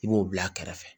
I b'o bila a kɛrɛfɛ